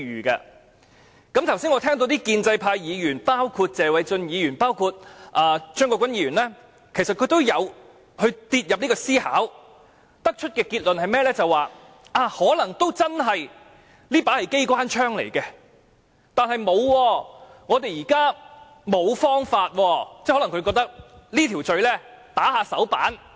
我剛才聽到謝偉俊議員及張國鈞議員等建制派議員其實也有以這方式思考，得出的結論是，可能這真是一把機關槍，但我們現在實在沒有其他方法。